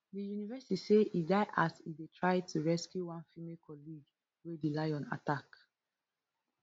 di university say e die as e dey try to rescue one female colleague wey di lion attack